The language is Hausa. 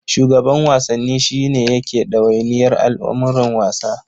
Shugaban Wasanni shi ne yake ɗawainiyar al'amuran wasa.